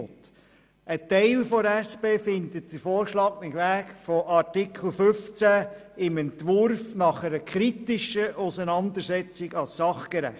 Ein Teil der SP-JUSO-PSAFraktion empfindet den vorgeschlagenen Weg von Artikel 15 im Entwurf nach einer kritischen Auseinandersetzung als sachgerecht.